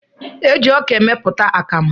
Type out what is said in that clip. Eji ọka emepụta akamụ.